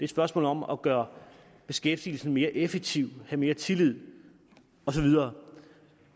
spørgsmål om at gøre beskæftigelsen mere effektiv have mere tillid og så videre